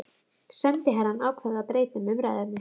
Sendiherrann ákvað að breyta um umræðuefni.